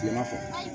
Kilema fɛ